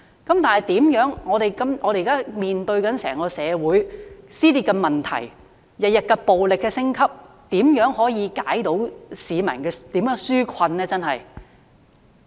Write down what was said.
可是，現時面對整個社會撕裂的問題，暴力每天升級，怎樣才可以為市民紓困呢？